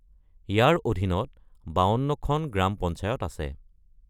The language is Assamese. ইয়াৰ অধীনত ৫২ খন গ্ৰাম পঞ্চায়ত আছে।